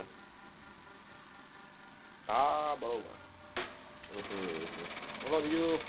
આહ બવું હમ બોલો બીજું